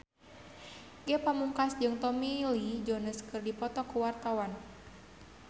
Ge Pamungkas jeung Tommy Lee Jones keur dipoto ku wartawan